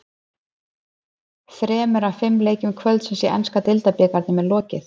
Þremur af fimm leikjum kvöldsins í enska deildabikarnum er lokið.